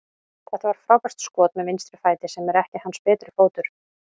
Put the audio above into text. Þetta var frábært skot með vinstri fæti, sem er ekki hans betri fótur.